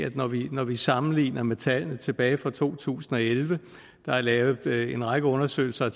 når vi sammenligner med tallene tilbage fra to tusind og elleve der er lavet en række undersøgelser